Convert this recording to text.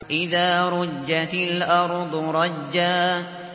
إِذَا رُجَّتِ الْأَرْضُ رَجًّا